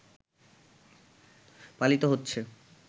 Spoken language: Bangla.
পালিত হচ্ছে